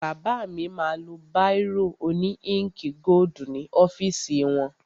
Bàbá mi ma lo báìrò òní íǹkì gódù ní ọ́fìsì wọn.